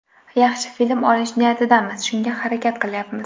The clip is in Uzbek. Yaxshi film olish niyatidamiz, shunga harakat qilyapmiz.